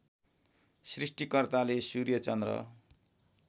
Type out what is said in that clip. सृष्टिकर्ताले सूर्य चन्द्र